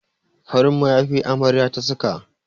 Farin mayafi amaryar ta saka.